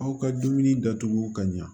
Aw ka dumuni datugu ka ɲa